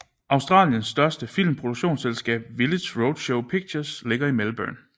Australiens største filmproduktionsselskab Village Roadshow Pictures ligger i Melbourne